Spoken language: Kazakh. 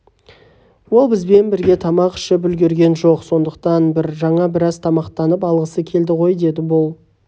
ол бізбен бірге тамақ ішіп үлгерген жоқ сондықтан жаңа біраз тамақтанып алғысы келді ғой деді бұл